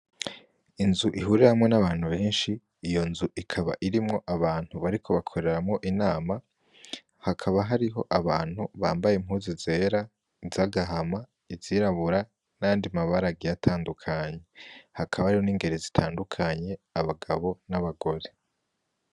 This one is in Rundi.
Inzu ihuriramwo n'abantu beshi iyo nzu ikaba irimwo abantu bariko bakoreramwo inama hakaba hariho abantu bambaye impuzu zera izagahama izirabura n'ayandi mabara agiye atandukanye hakaba hari n'ingeri zitandukanye abagabo n'abagore.